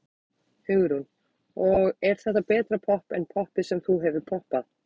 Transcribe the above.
Hugrún: Og er þetta betra popp en poppið sem þú hefur poppað?